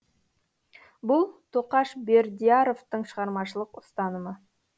бұл тоқаш бердияровтің шығармашылық ұстанымы